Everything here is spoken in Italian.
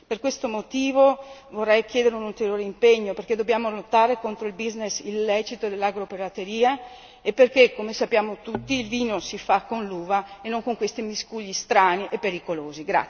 Per questi motivi, vorrei chiedere un ulteriore impegno perché dobbiamo lottare contro il business illecito dell'agropirateria e perché come tutti sappiamo il vino si fa con l'uva e non questi miscugli strani e pericolosi.